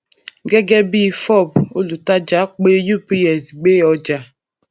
gẹgẹ bí fob olùtàjà pe ups gbé ọjà